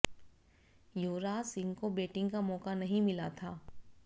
युवराज सिंह को बैटिंग का मौका नहीं मिला था